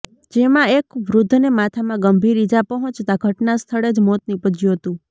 જેમાં એક વૃદ્ધને માથામાં ગંભીર ઇજા પહોંચતાં ઘટનાસ્થળે જ મોત નિપજ્યું હતું